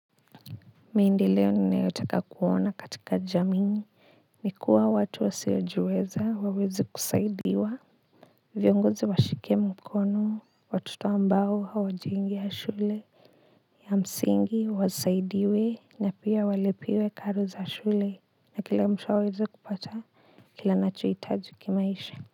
Mi ndio leo ninaetaka kuona katika jamii ni kuwa watu wasiojiweza waweze kusaidiwa viongozi washike mkono watoto ambao hawajiungi ya shule ya msingi wasaidiwe na pia walipiwe karo za shule na kila mtu aweze kupata kile nachoihitaji kimaisha.